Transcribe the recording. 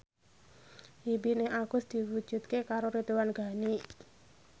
impine Agus diwujudke karo Ridwan Ghani